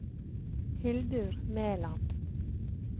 Hildur Meland